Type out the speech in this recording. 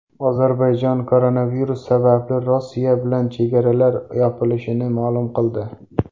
Ozarbayjon koronavirus sababli Rossiya bilan chegaralar yopilishini ma’lum qildi.